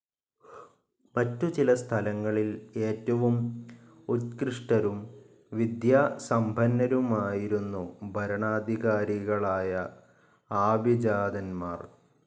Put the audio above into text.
മറ്റു ചില സ്ഥലങ്ങളിൽ ഏറ്റവും ഉത്‌കൃഷ്ടരും വിദ്യാസമ്പന്നരുമായിരുന്നു ഭരണാധികാരികളായ ആഭിജാതന്മാർ.